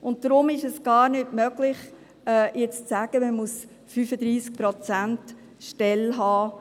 Deshalb ist es gar nicht möglich, jetzt zu sagen, man müsse 35-Prozent-Stellen haben;